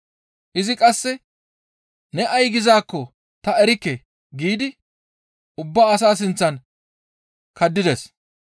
Izi qasse, «Ne ay gizaakko ta erikke!» giidi ubba asaa sinththan kaddides.